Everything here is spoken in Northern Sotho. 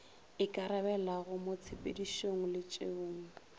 ikarabelago mo tshepedišong le tšeong